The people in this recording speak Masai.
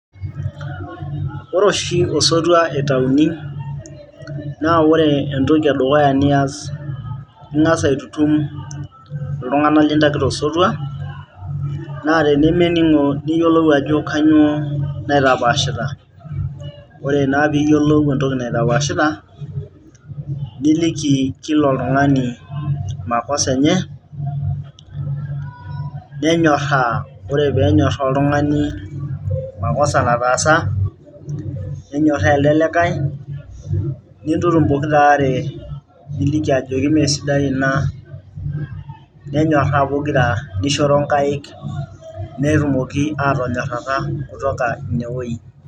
Ore oshi osotua itayuni naa ore entoki edukuya niaas ing'as aitutum iltung'anak lintakitaka osotua naa tenemening'o niyiolou ajo kainyioo naitapaashita ore naa piiyiolou entoki naitapaashita niliki kila oltung'ani makosa enye, nenyorraa ore pee enyorraaa oltung'ani makosa nataasa nenyerraa elde likai nintutum oikiraare niliki ajoki meesidai ina, nenyorraa pokira nishoro inkaik netumoki aatonyorrata kutoka ine wuei.